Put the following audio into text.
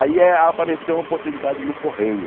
Aí eh apareceu uma oportunidade no Correio.